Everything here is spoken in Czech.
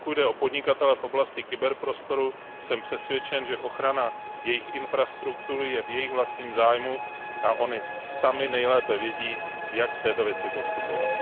Pokud jde o podnikatele v oblasti kyberprostoru, jsem přesvědčen, že ochrana jejich infrastruktury je v jejich vlastním zájmu a oni sami nejlépe vědí, jak v této věci postupovat.